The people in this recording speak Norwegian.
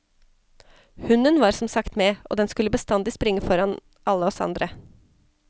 Hunden var som sagt med, og den skulle bestandig springe foran alle oss andre.